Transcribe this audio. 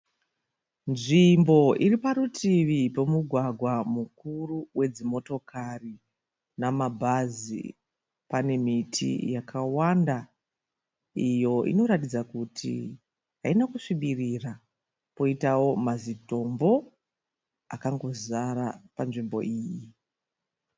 Nzvimbo iri parutivi pemugwagwa mukuru wedzimotokari namabhazi. Pane miti yakawanda iyo inoratidza kuti haina kusvibirira, poitawo mazitombo akangozara panzvimbo iyi.